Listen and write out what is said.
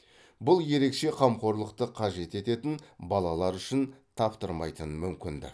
бұл ерекше қамқорлықты қажет ететін балалар үшін таптырмайтын мүмкіндік